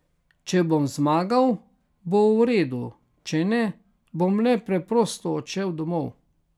Če bom zmagal, bo v redu, če ne, bom le preprosto odšel domov.